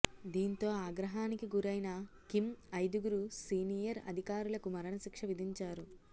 దీంతో ఆగ్రహానికి గురైన కిమ్ ఐదుగురు సీనియర్ అధికారులకు మరణ శిక్ష విధించారు